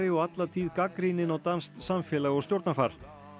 og alla tíð gagnrýninn á danskt samfélag og stjórnarfar